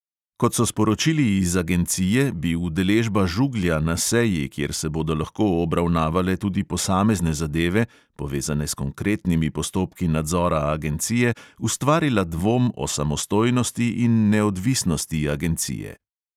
Kot so sporočili iz agencije, bi udeležba žuglja na seji, kjer se bodo lahko obravnavale tudi posamezne zadeve, povezane s konkretnimi postopki nadzora agencije, ustvarila dvom o samostojnosti in neodvisnosti agencije.